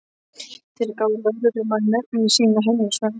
Þeir gáfu lögreglumanni nöfnin sín og heimilisföng.